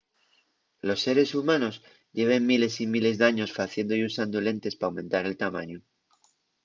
los seres humanos lleven miles y miles d’años faciendo y usando lentes p'aumentar el tamañu